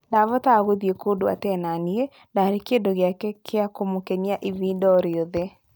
Ndabotaga kuthii kũndũ atena niĩ-ndarĩ kĩndũ gĩake kĩa kũmũkenia ĩbida oriothe.